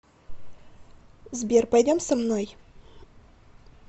сбер пойдем со мной